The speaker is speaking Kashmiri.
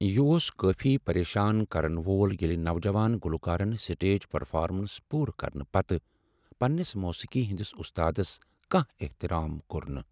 یہ اوس کٲفی پریشان کرن وول ییٚلہ نوجوان گلوکارن سٹیج پرفارمنس پوٗرٕ کرنہٕ پتہٕ پننس موسیقی ہندس استادس کانہہ احترام کوٚر نہٕ۔